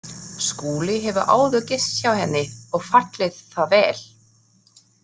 Skúli hefur áður gist hjá henni og fallið það vel.